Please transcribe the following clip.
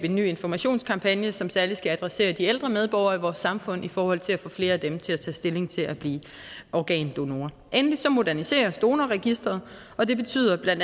en ny informationskampagne som særlig skal adressere de ældre medborgere i vores samfund i forhold til at få flere af dem til at tage stilling til at blive organdonor endelig moderniseres donorregistret og det betyder bla